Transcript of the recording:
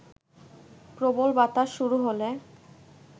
প্রবল বাতাস শুরু হলে